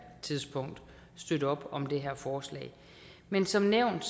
tidspunkt støtte op om det her forslag men som nævnt